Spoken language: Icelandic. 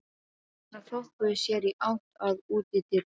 Stelpurnar þokuðu sér í átt að útidyrunum.